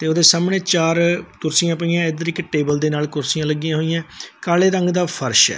ਤੇ ਉਹਦੇ ਸਾਹਮਣੇ ਚਾਰ ਕੁਰਸੀਆਂ ਪਈਆਂ ਇਧਰ ਇੱਕ ਟੇਬਲ ਦੇ ਨਾਲ ਕੁਰਸੀਆਂ ਲੱਗੀਆਂ ਹੋਈਆਂ ਕਾਲੇ ਰੰਗ ਦਾ ਫਰਸ਼ ਹੈ।